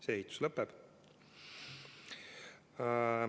See ehitus lõpeb.